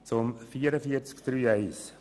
Zu Massnahme 44.3.1: